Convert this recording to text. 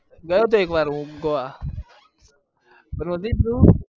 ગયો હતો એકવાર હું ગોવા પેલું નથી